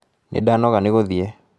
Nĩ ndanoga ni guthiĩ